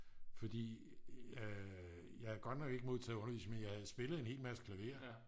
fordi jeg har godt nok ikke modtaget undervisning men jeg har en spillet en hel masse klaver